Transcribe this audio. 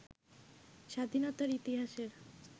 স্বাধীনতার ইতিহাসের